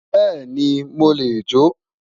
Beeni mo le jo